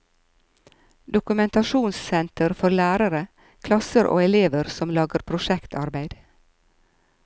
Dokumentasjonssenter for lærere, klasser og elever som lager prosjektarbeid.